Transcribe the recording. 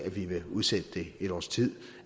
vi vil udsætte det et års tid